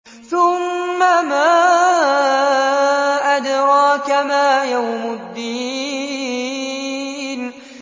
ثُمَّ مَا أَدْرَاكَ مَا يَوْمُ الدِّينِ